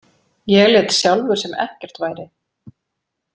Ég lét sjálfur sem ekkert væri.